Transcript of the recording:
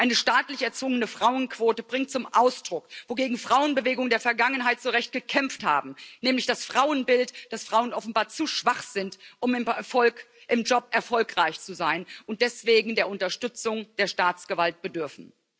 Eine staatlich erzwungene Frauenquote bringt zum Ausdruck, wogegen Frauenbewegungen der Vergangenheit zu Recht gekämpft haben nämlich das Frauenbild, dass Frauen offenbar zu schwach sind, um im Job erfolgreich zu sein, und deswegen der Unterstützung der Staatsgewalt bedürfen.